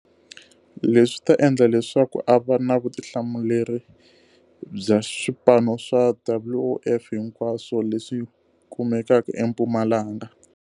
Leswi swi ta endla leswaku a va na vutihlamuleri bya swipano swa WOF hi nkwaswo leswi kumekaka eMpumalanga.